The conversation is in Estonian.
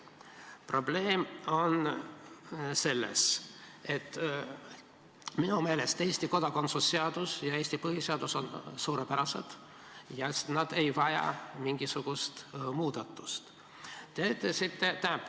Probleem on selles, et minu meelest on Eesti kodakondsuse seadus ja Eesti põhiseadus suurepärased ja nad ei vaja mingisugust muudatust.